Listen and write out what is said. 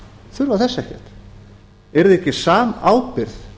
þurfa þess ekkert yrði ekki samábyrgð